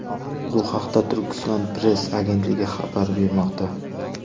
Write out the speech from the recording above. Bu haqda Turkiston-press agentligi xabar bermoqda .